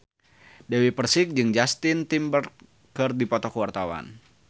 Dewi Persik jeung Justin Timberlake keur dipoto ku wartawan